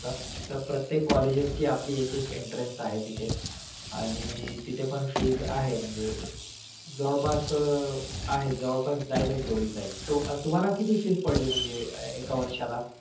त्या प्रत्येक colleges ची आपली एक एक entrance आहे तिथे. आणि तिथे पण fees आहे म्हणजे. जवळपास आहे जवळपास जाईलच एवढी जाईल. तो तुम्हाला किती fees पडली म्हणजे एका वर्षाला?